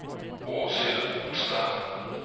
Åshild Olstad